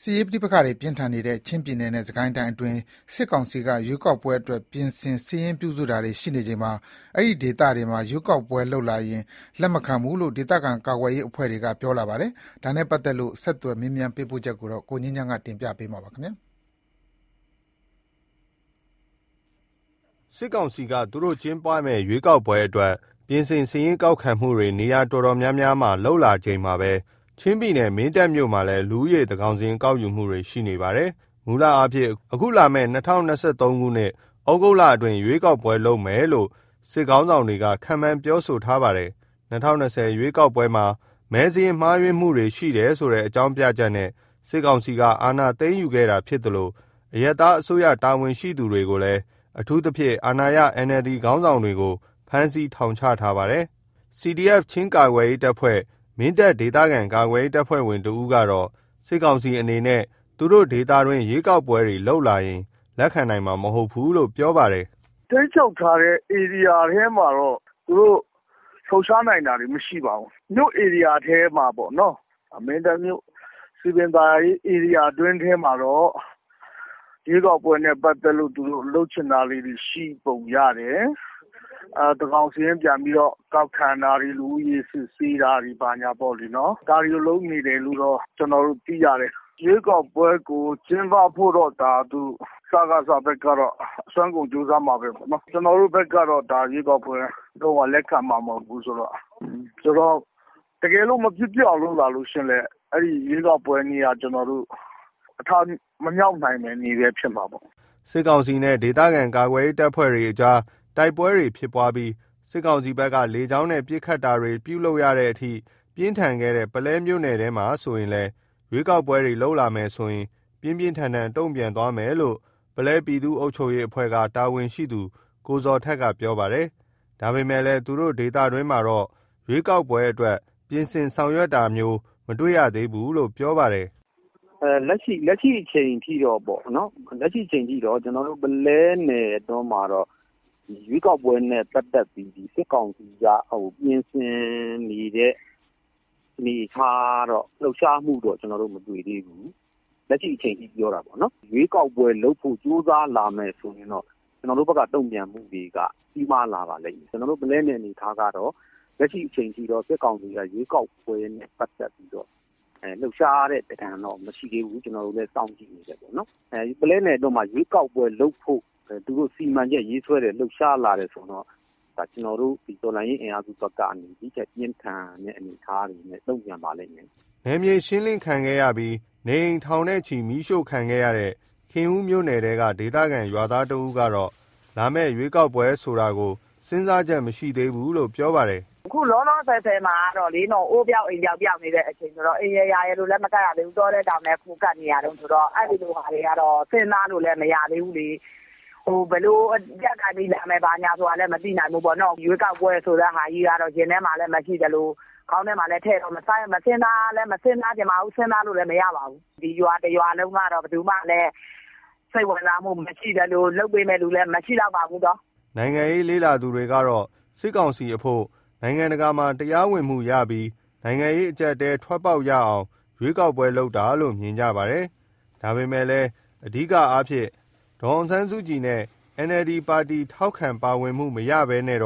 စ်ရေးပဋိ့ပက္ခတွေပြင်းထန်နေတဲ့ ချင်းပြည်နယ်နဲ့စစ်ကိုင်းတိုင်းအတွင်း စစ်ကောင်စီက ရွေးကောက်ပွဲအတွက် ပြင်ဆင်စာရင်းပြုစုနေချိန်မှာ အဲဒီဒေသတွေမှာ ရွေးကောက်ပွဲလုပ်လာရင် လက်မခံဘူးလို့ ဒေသခံကာကွယ်ရေးအဖွဲ့တွေက ပြောပါတယ်။ ဒါနဲ့ပတ်သက်လို့ ဆက်သွယ်မေးမြန်းသတင်းပေးပို့ချက်ကို ကိုငြိမ်းချမ်းက တင်ပြပေးထားပါတယ်။ စစ်ကောင်စီက သူတို့ကျင်းပမယ့် ရွေးကောက်ပွဲအတွက် ပြင်ဆင်စာရင်းကောက်ခံမှုတွေ နေရာအတော်များများမှာ ရှိလာချိန်မှာပဲ ချင်းပြည်နယ် မင်းတပ်မြို့မှာလည်း လူဦးရေသန်းခေါင်စာရင်းကောက်ယူနေတယ်လို့ သိရပါတယ်။ မူလအားဖြင့် အခုလာမယ့် ၂၀၂၃ ခုနှစ် ဩဂုတ်လအတွင်း ရွေးကောက်ပွဲလုပ်မယ်လို့ စစ်ခေါင်းဆောင်တွေက ခန့်မှန်းပြောဆိုထားပါတယ်။ ၂၀၂၀ ရွေးကောက်ပွဲမှာ မဲစာရင်းမှားယွင်းမှုတွေရှိတယ်ဆိုတဲ့အကြောင်းပြချက်နဲ့ စစ်ကောင်စီက အာဏာသိမ်းယူခဲ့တာဖြစ် သလို အရပ်သားအစိုးရတာဝန်ရှိသူတွေ၊ အထူးသဖြင့် အာဏာရ NLD ပါတီခေါင်းဆောင်တွေကို ဖမ်းဆီးထောင်ချထားပါတယ်။ CDF ချင်းကာကွယ်ရေးတပ်ဖွဲ့ မင်းတပ်ဒေသခံကာကွယ်ရေးတပ်ဖွဲ့ဝင်တဦးကတော့ စစ်ကောင်စီအနေနဲ့ သူတို့ဒေသတွင်း ရွေးကောက်ပွဲတွေလုပ်လာမယ်ဆိုရင် လက်ခံနိုင်မှာမဟုတ်ဘူးလို့ ပြောပါတယ်။ “ထိန်းချုပ်ထားတဲ့ ဧရိယာထဲမှာတော့ သူတို့လှုပ်ရှားနိုင်တာတွေမရှိပါဘူး။ မြို့ဧရိယာထဲမှာပေ့ါနော်။ မင်းတပ်မြို့ စည်ပင်သာယာရေး ဧရိယာအတွင်းထဲမှာတော့ ရွေးကောက်ပွဲနဲ့ပတ်သက်လို့ သူတို့လုပ်ချင်တာလေးတွေ ရှိပုံရတယ်။ သန်းခေါင်စာရင်းကောက်ခံတာတွေ လူဦးရေစာရင်း ကောက်ယူတာတွေပေါ့နော်။ ဒါတွေကိုလုပ်နေတယ်လို့တော့ ကျနော်တို့ သိရတယ်။ ရွေးကောက်ပွဲကျင်းပဖို့ စကစ ဘက်ကတော့ အစွမ်းကုန်ကြိုးစားမှာပဲပေါ့နော်။ ကျနော်တို့ဘက်ကတော့ ရွေးကောက်ပွဲ လုံးဝ လက်ခံမှာမဟုတ်ဘူး။ တကယ်လို့ မဖြစ်ဖြစ်အောင် လုပ်လာရင်လည်း ရွေးကောက်ပွဲနေ့က အထမမြောက်နိုင်မယ့်နေ့ပဲ ဖြစ်မှာပေါ့။” စစ်ကောင်စီနဲ့ ဒေသခံကာကွယ်ရေးတပ်ဖွဲ့တွေ တိုက်ပွဲတွေဖြစ်ပွားပြီး စစ်ကောင်စီဘက်က လေကြောင်းနဲ့ပါ ပစ်ခတ်တာတွေ ပြုလုပ်ရတဲ့အထိ ပြင်းထန်ခဲ့တဲ့ ပုလဲမြို့နယ်ထဲမှာလည်း ရွေးကောက်ပွဲလုပ်လာမယ်ဆိုရင် ပြင်းပြင်းထန်ထန် တုံ့ပြန် သွားမယ်လို့ ပုလဲ ပြည်သူ့အုပ်ချုပ်ရေးအဖွဲ့က တာဝန်ရှိသူ ကိုဇော်ထက်က ပြောပါတယ်။ ဒါပေမယ့် သူတို့ဒေသတွင်းမှာတော့ ရွေးကောက်ပွဲအတွက် ပြင်ဆင်ဆောင်ရွက်တာမျိုးမတွေ့ရသေးဘူးလို့ ပြောပါတယ်။ “လက်ရှိအချိန်ထိပေါ့နော် ကျနော်တို့ ပုလဲနယ်အတွင်းမှာတော့ ရွေးကောက်ပွဲနဲ့ ပတ်သက်ပြီး စစ်ကောင်စီက ပြင်ဆင်နေတဲ့အနေအထားတော့ လှုပ်ရှားမှုတော့ မတွေ့သေးဘူး။ လက်ရှိအချိန်ထိပြောတာပေါ့နော်။ ရွေးကောက်ပွဲလုပ်ဖို့ ကြိုးစားလာမယ်ဆိုရင် ကျနော်တို့ဘက်က တုံ့ပြန်မှုတွေက ကြီးမားလာပါလိမ့်မယ်။ ကျနော်တို့ ပုလဲနယ် အနေအထားကတော့ စစ်ကောင်စီက ရွေးကောက်ပွဲနဲ့ ပတ်သက်ပြီးတော့ လှုပ်ရှားတာတော့ မရှိသေးဘူး။ ကျနော်တို့လည်းစောင့်ကြည့်နေတယ်။ ပုလဲနယ်ထဲမှာ သူတို့ရွေးကောက်ပွဲလုပ်ဖို့ စီမံချက်ရေးစွဲလှုပ်ရှားလာတယ်ဆိုရင် ကျနော်တို့ တော်လှန်ရေးအင်အားစုတွေဘက်က ဒီ့ထက်ပြင်းထန်တဲ့ အနေအထားတွေနဲ့ တုံ့ပြန်ပါလိမ့်မယ်။” နယ်မြေရှင်းလင်းခံခဲ့ရပြီး နေအိမ်ထောင်နဲ့ချီမီးရှို့ခံခဲ့ရတဲ့ ခင်ဦးမြို့နယ်ထဲက ဒေသခံကျေးရွာသားတဦးကတော့ လာမယ့်ရွေးကောက်ပွဲဆိုတာကို စဉ်းစားချက်ကိုမရှိသေးဘူးလို့ ပြောပါတယ်။ “အခုလောလောဆယ်မှာတော့ အိုးပျောက်အိမ်ပျောက် ပျောက်နေတဲ့အချိန်ဆိုတော့ အိမ်ရယ်ယာရယ်လို့လည်း မကပ်ရသေးဘူး။ တောထဲတောင်ထဲ ခိုကပ်နေရတုန်းဆိုတော့ အဲ့လိုဟာတွေက စဉ်းစားလို့လည်း မရသေးဘူးလေ။ ဘယ်လိုအကြပ်ကိုင်ပြီး လာမယ်ဆိုတာလည်း မသိနိုင်ဘူးပေါ့။ ရွေးကောက်ပွဲဆိုတဲ့ဟာကြီးက ရင်ထဲမှာမရှိသလို ခေါင်းထဲမှာလည်းထည့်ပြီး မစဉ်းစားချင်ပါဘူး။ စဉ်းစားလို့လည်း မရပါဘူး။ ဒီရွာတရွာလုံးက စိတ်ဝင်စားမှုလည်းမရှိသလို လုပ်ပေးမယ့်လူလည်း မရှိဘူး။” နိုင်ငံရေးလေ့လာသူတွေကတော့ စစ်ကောင်စီအဖို့ နိုင်ငံတကာမှာတရားဝင်မှုရပြီး နိုင်ငံရေးအကျပ်အတည်းထွက်ပေါက်ရအောင် ရွေးကောက်ပွဲလုပ်တာလို့ မြင်ကြပါတယ်။ ဒါပေမယ့်လည်း အဓိကအားဖြင့် ဒေါ်အောင်ဆန်းစုကြည်နဲ့ NLD ပါတီထောက်ခံပါဝင်မှုမရဘဲနဲ့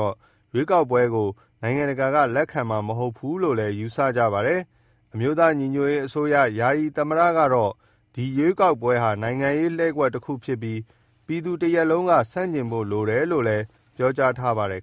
ရွေးကောက်ပွဲကိုနိုင်ငံတကာက လက်ခံမှာမဟုတ်ဘူးလို့လည်း ယူဆကြပါတယ်။ အမျိုးသားညီညွတ်ရေးအစိုးရ ယာယီသမ္မတကတော့ ဒီရွေးကောက်ပွဲဟာ နိုင်ငံရေးလှည့်ကွက်တခုဖြစ်ပြီး ပြည်သူတရပ်လုံးက ဆန့်ကျင်ဖို့လိုတယ်လို့တယ်လို့ ပြောကြားထားပါတယ်